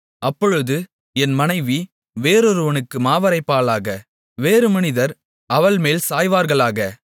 அப்பொழுது என் மனைவி வேறொருவனுக்கு மாவரைப்பாளாக வேறு மனிதர் அவள்மேல் சாய்வார்களாக